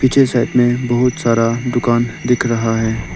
पीछे साइड में बहुत सारा दुकान दिख रहा है।